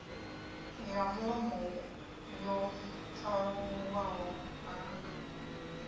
ya mulomo yo pharuwaho ha